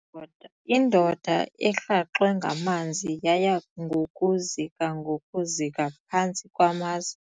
Indoda erhaxwe ngamanzi yaya ngokuzika ngokuzika phantsi kwamaza.